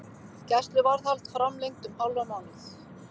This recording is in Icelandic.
Gæsluvarðhald framlengt um hálfan mánuð